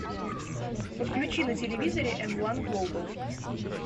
подключи на телевизоре м ван глобал